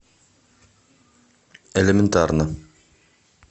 элементарно